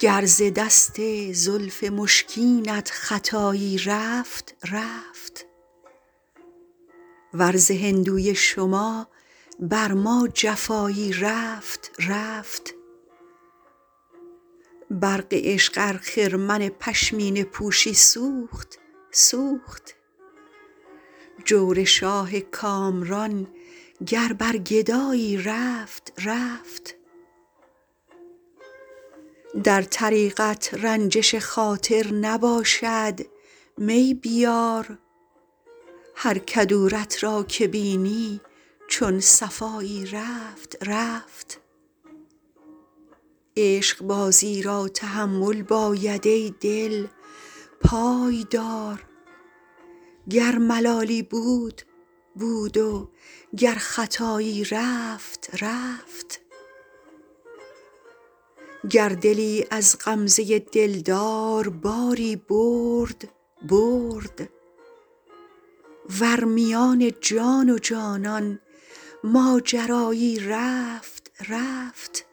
گر ز دست زلف مشکینت خطایی رفت رفت ور ز هندوی شما بر ما جفایی رفت رفت برق عشق ار خرمن پشمینه پوشی سوخت سوخت جور شاه کامران گر بر گدایی رفت رفت در طریقت رنجش خاطر نباشد می بیار هر کدورت را که بینی چون صفایی رفت رفت عشقبازی را تحمل باید ای دل پای دار گر ملالی بود بود و گر خطایی رفت رفت گر دلی از غمزه دلدار باری برد برد ور میان جان و جانان ماجرایی رفت رفت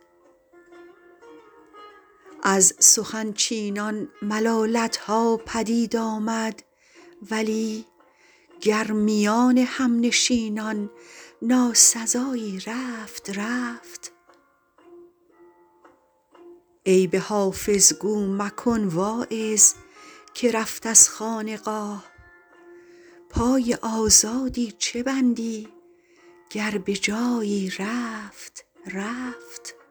از سخن چینان ملالت ها پدید آمد ولی گر میان همنشینان ناسزایی رفت رفت عیب حافظ گو مکن واعظ که رفت از خانقاه پای آزادی چه بندی گر به جایی رفت رفت